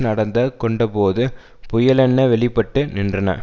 நடந்த கொண்டபோது புயலென வெளி பட்டு நின்றன